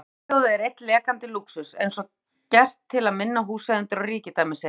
Bjölluhljóðið er einn lekandi lúxus, eins og gert til að minna húseigendur á ríkidæmi sitt.